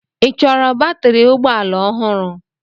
Ị chọrọ batrị ụgbọ ala ọhụrụ?